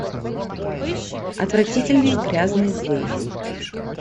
отвратительные грязные злые